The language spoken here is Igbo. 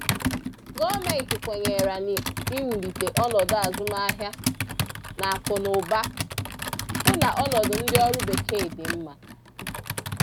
Gọọmenti kwenyere n’iwulite ọnọdụ azụmahịa na akụ na ụba, hụ na ọnọdụ ndị ọrụ Bekee dị mma.